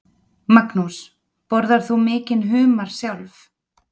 Magnús: Borðar þú mikinn humar sjálf?